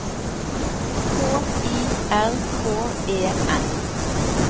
K I R K E N